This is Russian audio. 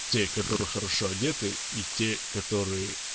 те которые хорошо одеты и те которые